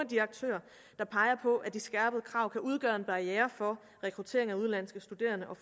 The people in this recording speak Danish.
de aktører der peger på at de skærpede krav kan udgøre en barriere for rekrutteringen af udenlandske studerende og